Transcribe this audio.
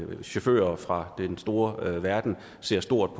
hvis chauffører fra den store verden ser stort